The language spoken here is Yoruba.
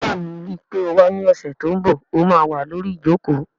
Bẹ́ẹ̀ni, ríi pé o wá ní ọ̀sẹ̀ tó n bọ̀, ó má wà lórí ìjòkó